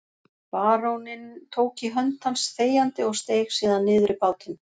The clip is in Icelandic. Baróninn tók í hönd hans þegjandi og steig síðan niður í bátinn.